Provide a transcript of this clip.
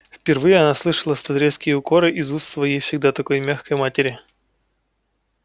впервые она слышала столь резкие укоры из уст своей всегда такой мягкой матери